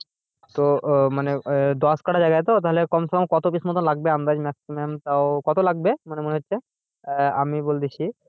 তো আহ মানে দশ কাটা জায়গা তো তাহলে কোমসোম কত piece মতন লাগবে আন্দাজ maximum তাও কত লাগতে পারে ওপর মনে হচ্ছে?